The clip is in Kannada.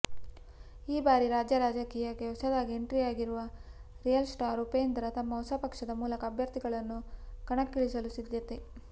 ಈ ಬಾರಿ ರಾಜ್ಯ ರಾಜಕೀಯಕ್ಕೆ ಹೊಸದಾಗಿ ಎಂಟ್ರಿಯಾಗಿರುವ ರಿಯಲ್ ಸ್ಟಾರ್ ಉಪೇಂದ್ರ ತಮ್ಮ ಹೊಸಪಕ್ಷದ ಮೂಲಕ ಅಭ್ಯರ್ಥಿಗಳನ್ನು ಕಣಕ್ಕಿಳಿಸಲು ಸಿದ್ದತೆ